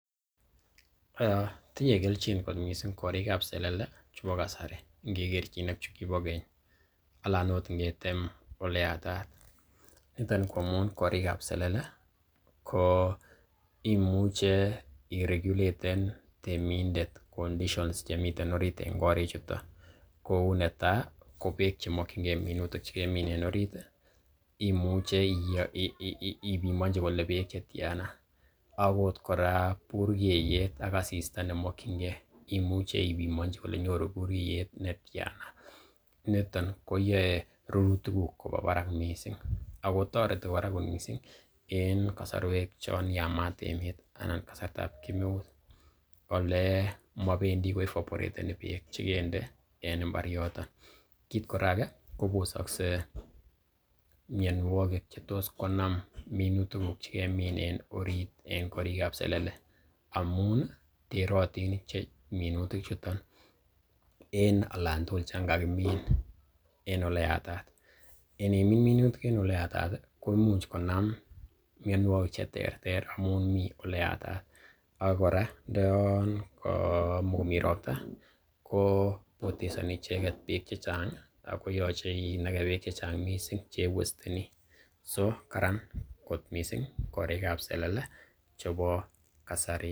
Tinye kelchin kot mising korik ab selele chebo kasari ingekerchin ak chu kibo keny. Anan ot ingetem ole yatat. Niton ko amun korik ab selele ko imuche iregulaten temindet conditions chemiten orit en korichuton. Kou netai ko beek che mokinge minutiik che kemin en orit imuche ibimonchi kole beek che tyana. Agot kora burkeiyet ak asista nemokinge, imuche ibimonchi kole nyoru burkeiyet netyan. Niton koyae rurutikuk koba barak mising. Ago toreti kora mising eng kosorwek chon yamaat emet anan kasartab kemeut. Ole mobendi koevaporeteni beek che kende en mbar yoton. Kiit kora age kobosokse mianwogik che tos konam minutik che kemin en orit eng korik ab selele amun i, terotin minutik chuto eng oln tugul chan kagimin en ole yatat. Inimin minutik eng ole yatat koimuch konam mianwogik che terter amun mi ole yatat, ak kora ndoyon kamakomi robta ko potesoni icheget beek che chang ago yoche inage beek che chang mising che iwasteni. So karan kot mising korik ab selele chebo kasari.